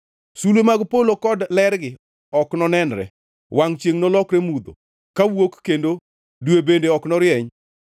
Sulwe mag polo kod lergi ok nonenre. Wangʼ chiengʼ nolokre mudho, kawuok kendo dwe bende ok norieny.